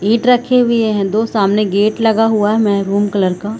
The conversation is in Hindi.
ईंट रखे हुए है दो सामने गेट लगे हुए है मैरून कलर का --